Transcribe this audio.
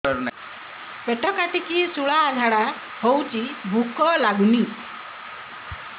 ପେଟ କାଟିକି ଶୂଳା ଝାଡ଼ା ହଉଚି ଭୁକ ଲାଗୁନି